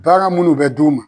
Baara munnu bɛ d'u ma